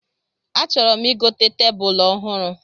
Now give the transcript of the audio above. A chọrọ m igote tebulu ọhụrụ